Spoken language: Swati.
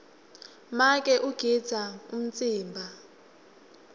make ugidza umtsimba